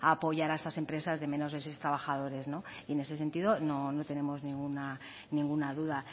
a apoyar a estas empresas de menos de seis trabajadores y en este sentido no tenemos ninguna duda